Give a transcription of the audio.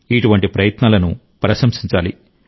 ఇటువంటి ప్రయత్నాలను ప్రశంసించాలి